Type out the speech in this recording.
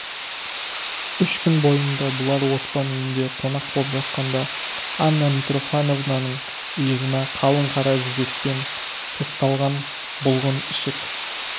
үш күн бойында бұлар оспан үйінде қонақ боп жатқанда анна митрофановнаның иығына қалың қара жібекпен тысталған бұлғын ішік